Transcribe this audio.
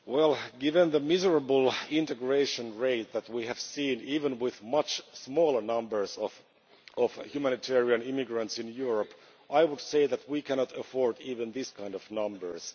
Well, given the miserable integration rate that we have seen, even with much smaller numbers of humanitarian immigrants in Europe, I would say that we cannot afford even these kind of numbers.